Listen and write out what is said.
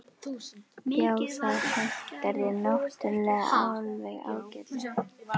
Já, það hentar þér náttúrulega alveg ágætlega.